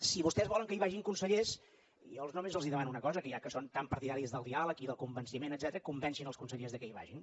si vostès volen que hi vagin consellers jo només els demano una cosa que ja que són tan partidaris del diàleg i del convenciment etcètera convencin els consellers perquè hi vagin